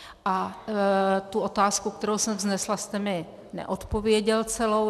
A tu otázku, kterou jsem vznesla, jste mi neodpověděl celou.